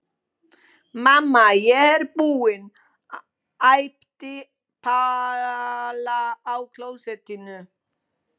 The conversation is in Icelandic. Mamma, ég er búin! æpti Palla á klósettinu.